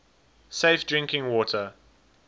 safe drinking water